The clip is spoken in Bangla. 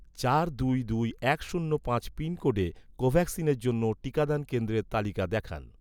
চার দুই দুই এক শূন্য পাঁচ পিনকোডে, কোভ্যাক্সিনের জন্য, টিকাদান কেন্দ্রের তালিকা দেখান